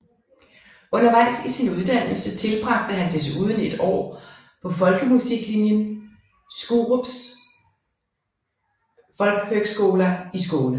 Undervejs i sin uddannelse tilbragte han desuden et år på folkemusiklinjen Skurups folkhögskola i Skåne